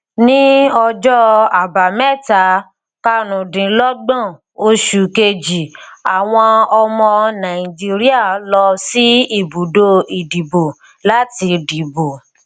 ní ọjọ àbámẹta karùndínlógbòn oṣù kejì àwọn ọmọ nàìjíríà lọ sí ibùdó ìdìbò láti dìbò